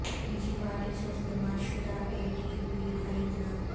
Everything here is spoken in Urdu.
نجی پارٹی سے استعمال شدہ اے ٹی وی خریدنا